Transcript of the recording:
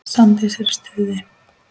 Svandís er í stuði.